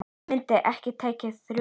Myndin er tekin í Róm.